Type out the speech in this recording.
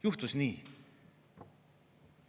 Juhtus nii!